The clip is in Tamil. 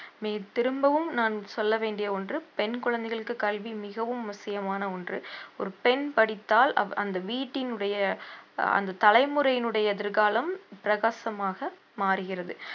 திரும்பவும் நான் சொல்ல வேண்டிய ஒன்று பெண் குழந்தைகளுக்கு கல்வி மிகவும் அவசியமான ஒன்று ஒரு பெண் படித்தால் அவ்~ அந்த வீட்டினுடைய அந்த தலைமுறையினுடைய எதிர்காலம் பிரகாசமாக மாறுகிறது